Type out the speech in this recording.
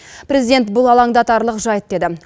президент бұл алаңдатарлық жайт деді